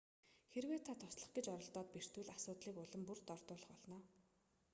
хэрэв та туслах гэж оролдоод бэртвэл асуудлыг улам бүр дордуулах болно